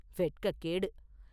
வெட்கக்கேடு!